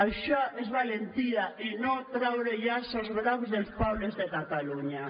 això és valentia i no treure els llaços grocs dels pobles de catalunya